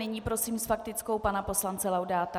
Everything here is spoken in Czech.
Nyní prosím s faktickou pana poslance Laudáta.